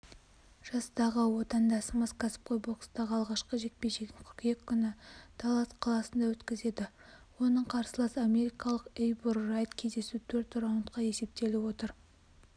жастағы отандасымыз кәсіпқой бокстағы алғашқы жекпе-жегін қыркүйек күні даллас қаласында өткізеді оның қарсыласы америкалық эйбур райт кездесу төрт раундқа есептеліп отыр